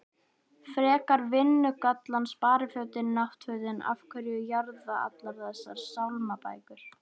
frekar vinnugallann sparifötin náttfötin af hverju jarða allar þessar sálmabækur?